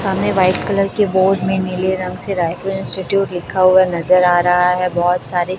सामने white colour के board में नीले रंग से रायपुर इंस्टीट्यूट लिखा हुआ नजर आ रहा है बहोत सारे--